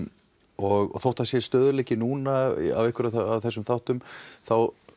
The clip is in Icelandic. og þótt að það sé stöðugleiki núna á einhverjum af þessum þáttum þá